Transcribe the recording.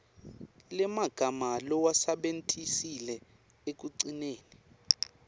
lemagama lowasebentisile ekugcineni